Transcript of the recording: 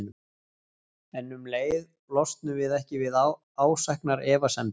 En um leið losnum við ekki við ásæknar efasemdir.